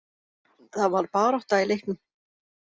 Það var barátta í leiknum.